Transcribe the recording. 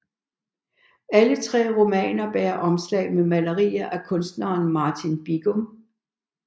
Alle tre romaner bærer omslag med malerier af kunstneren Martin Bigum